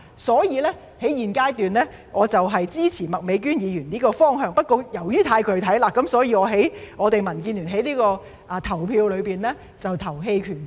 所以，我在現階段支持麥美娟議員的方向，不過由於太具體了，所以民建聯投票時會投棄權票。